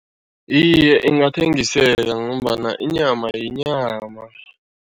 Iye, ingathengiseka ngombana inyama yinyama.